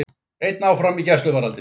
Einn áfram í gæsluvarðhaldi